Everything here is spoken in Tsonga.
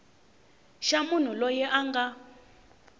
xa munhu loyi a nga